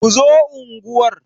Ku zo unguwar!